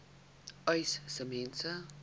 uys sê mense